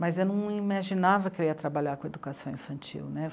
Mas eu não imaginava que eu ia trabalhar com educação infantil né.